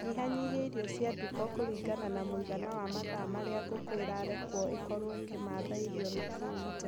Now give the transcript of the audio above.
Nyihanyihia irio cia nduka kũringana na mũigana wa mathaa marĩa ngũkũ irarekwo ikorwo ikĩmatha irio na kũu nja.